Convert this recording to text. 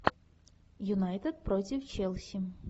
юнайтед против челси